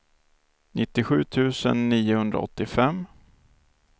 nittiosju tusen niohundraåttiofem